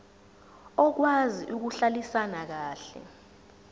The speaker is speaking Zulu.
okwazi ukuhlalisana kahle